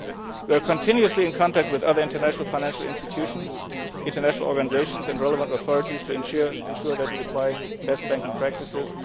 We are continuously in contact with other international financial institutions, international organisations and relevant authorities to ensure that we apply best banking practices.